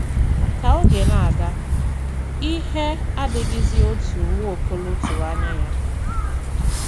Ka oge na - aga, ihe adịghịzi otú Nwaokolo tụrụ anya ya.